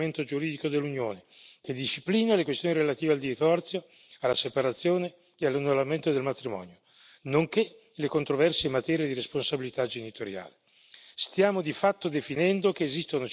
Sono escluse dal campo di applicazione del principale strumento giuridico dell'Unione che disciplina le questioni relative al divorzio, alla separazione e all'annullamento del matrimonio, nonché le controversie in materia di responsabilità genitoriale.